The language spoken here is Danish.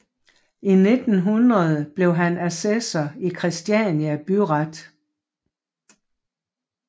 I 1900 blev han assessor i Kristiania Byret